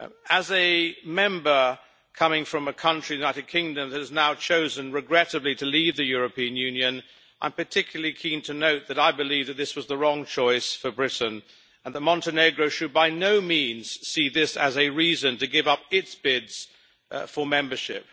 As a Member coming from a country, the United Kingdom, that has now chosen, regrettably, to leave the European Union, I am particularly keen to note that I believe that this was the wrong choice for Britain and that Montenegro should by no means see this as a reason to give up its bid for membership.